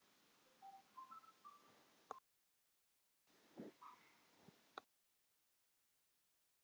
Kom hvergi auga á hana.